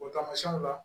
O tamasiyɛnw la